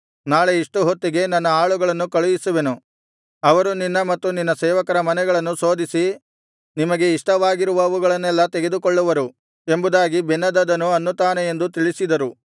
ನಾಳೆ ಇಷ್ಟು ಹೊತ್ತಿಗೆ ನನ್ನ ಆಳುಗಳನ್ನು ಕಳುಹಿಸುವೆನು ಅವರು ನಿನ್ನ ಮತ್ತು ನಿನ್ನ ಸೇವಕರ ಮನೆಗಳನ್ನು ಶೋಧಿಸಿ ನಿಮಗೆ ಇಷ್ಟವಾಗಿರುವವುಗಳನ್ನೆಲ್ಲಾ ತೆಗೆದುಕೊಳ್ಳುವರು ಎಂಬುದಾಗಿ ಬೆನ್ಹದದನು ಅನ್ನುತ್ತಾನೆ ಎಂದು ತಿಳಿಸಿದರು